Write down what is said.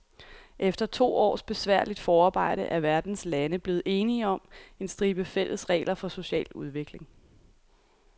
Efter to års besværligt forarbejde er verdens lande blevet enige om en stribe fælles regler for social udvikling.